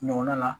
Ɲɔgɔnna na